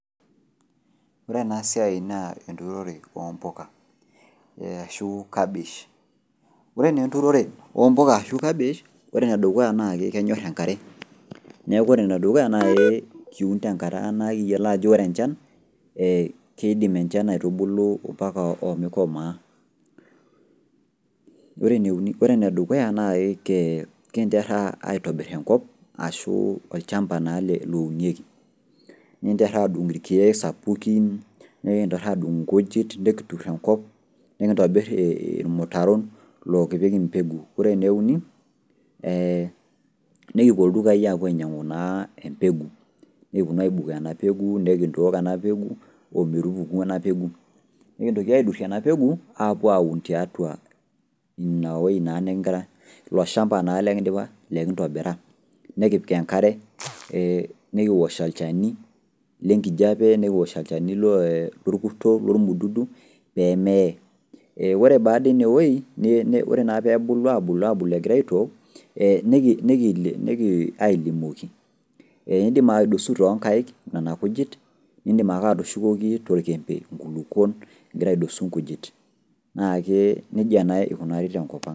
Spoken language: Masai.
Ore ena siai naa enthroned oomboka ashu kabish Ore naa enturore oomboka ashu kabish , ore enedukuya naa kenyor enkare neeku ore enedukuya naa kiun tenkata nayioloi ajo ore enchan keidim enchan aitubulu mpaka omikomaa Ore enedukuya naa kinterhaa aitobir enkop ashu olchamba naa lounieki nintirha aadung ilkiek sapukin nikintoki adung ilkujit nekitur engop nikintobir ilmutaron lokipik imbegu Ore enieuni eeh nekipuo ildukai apuo ainyang'u naa embegu nekipuo naa aibukoo enapegu nekintook ena pegu ometupuku ena pegu Nikintoki aitosh ena pegu apwaun tiatua inawei naa nikigira , ilo shamba naa lekin'dipa lekindobira nekipik enkare nikiwosh olchani lengijape, nekiwosh olchani lorkuto pee meeye Ore baadaine eei ore naa peebulu abulu egirai aitook nekiny ailimoki In'dim aidosu toonkaik nena kujit nidim ake atushukoki toljembe ingulukuon igira aidosu inkujit naake nijia naa ikunaari tenkop ang'.